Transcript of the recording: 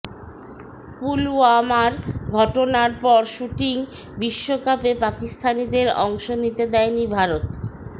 পুলওয়ামার ঘটনার পর শ্যুটিং বিশ্বকাপে পাকিস্তানিদের অংশ নিতে দেয়নি ভারত